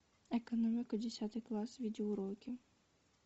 экономика десятый класс видеоуроки